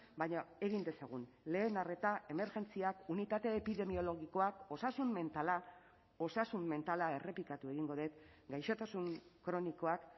baina egin dezagun lehen arreta emergentziak unitatea epidemiologikoak osasun mentala osasun mentala errepikatu egingo dut gaixotasun kronikoak